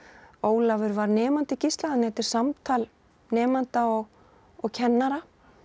Ólafur var nemandi Gísla þannig að þetta er samtal nemanda og og kennara